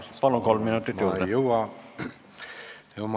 Ma ei jõua viie minutiga oma juttu ära rääkida.